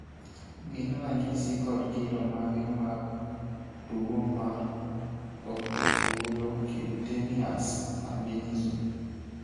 gin ranyisi kod kido mage mag tuwo mar Oculocutaneous albinism?